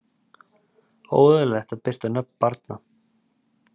Óeðlilegt að birta nöfn barna